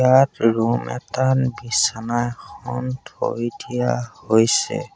তাত ৰুম এটাত বিছনা এখন থৈ দিয়া হৈছে।